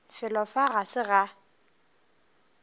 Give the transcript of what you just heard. felo fa ga se ga